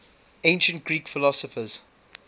ancient greek philosophers